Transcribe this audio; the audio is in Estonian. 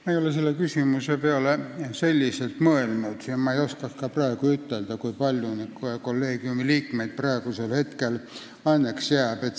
Ma ei ole selle küsimuse peale selliselt mõelnud ja ma ei oska ka ütelda, kui palju neid kolleegiumi liikmeid praegu alles jääb.